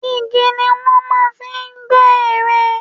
Igi ni wọ́n máa ń fi ń gbẹ́ ère.